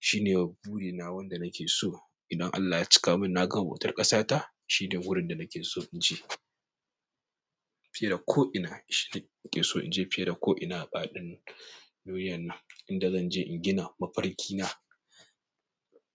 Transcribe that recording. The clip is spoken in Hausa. Shine burina wanda nake so. Idan Allah ya cika min na gama bautar ƙasa ta shine wurin da nake so in je fiye da ko'ina. Shine nake so in je fiye da ko'ina a faɗin duniyan nan inda zan je in gina mafarki na.